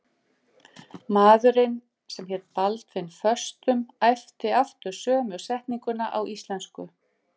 Maðurinn sem hélt Baldvin föstum æpti aftur sömu setninguna á íslensku.